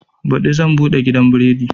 Baɗi zan buɗe gidan biredi